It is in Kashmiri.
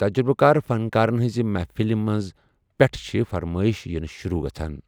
تجرٗبہٕ كار فنكارن ہنزِ محفِلہِ منزٕ پیٹھہٕ چھِ فرمٲیش یِنہِ شروع گژھان ۔